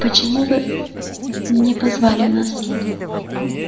почему вы не позвали нас